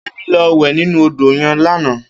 Kemi lò wè ninú ódó yèn làná